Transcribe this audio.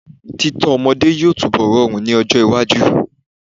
Títọ́ ọmọdé yóò túnbọ̀ rọrùn ní ọjọ́ iwájú.